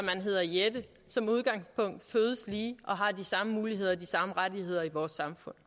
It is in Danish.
jette som udgangspunkt fødes lige og har de samme muligheder og de samme rettigheder i vores samfund